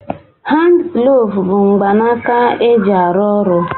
Handi glovu bụ mgbanaka e ji arụ oru